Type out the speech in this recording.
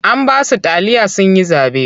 An ba su taliya sun yi zaɓe.